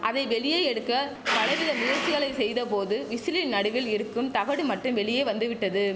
அதை வெளியே எடுக்க பலவித முயற்சிகளை செய்தபோது விசிலின் நடுவில் இருக்கும் தகடு மட்டும் வெளியே வந்துவிட்டது